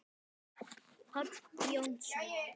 Páll Jónsson